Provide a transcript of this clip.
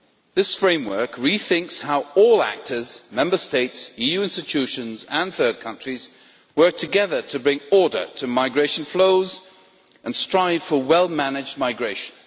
This framework rethinks how all actors Member States, EU institutions and third countries work together to bring order to migration flows and strive for well managed migration.